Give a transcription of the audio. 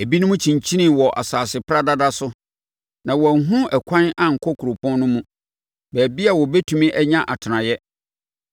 Ebinom kyinkyinii wɔ nsase paradada so, a wɔanhunu ɛkwan ankɔ kuropɔn no mu, baabi a wɔbɛtumi anya atenaeɛ.